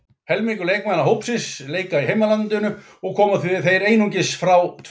Helmingur leikmanna hópsins leika í heimalandinu og koma þeir einungis frá tveimur félögum.